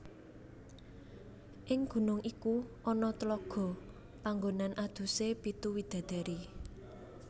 Ing gunung iku ana tlaga panggonan adusé pitu widadari